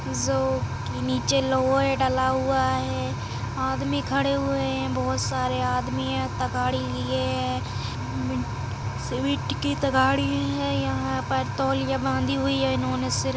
जो की निचे लउहे डला हुआ है आदमी खड़े हुए हैं बहोत सारे आदमी हैं तगाड़ी लिए हैं मी सीमेंट की तगाड़ी है यहाँ पर तौलिया बांधी है इन्होने सीर मैं।